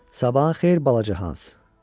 Sabahın xeyir balaca Hans.